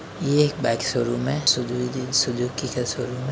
ये एक bike showroom है। सुज़ु - सुजुकी का शोरूम है।